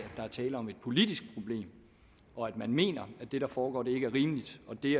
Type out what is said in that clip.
der er tale om et politisk problem og at man mener at det der foregår ikke er rimeligt og det